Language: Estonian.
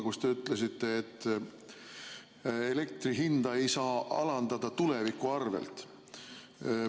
Te ütlesite, et elektri hinda ei saa alandada tuleviku arvel.